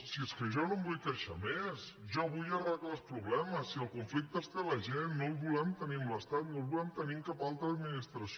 si és que jo no em vull queixar més jo vull arreglar els problemes si el conflicte el té la gent no el volem tenir amb l’estat no el volem tenir amb cap altra administració